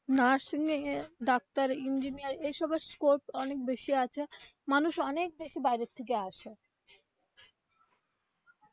nursing এগিয়ে doctor engineer এইসব এর scope অনেক বেশি আছে মানুষ অনেক বেশি বাইরে থেকে আসে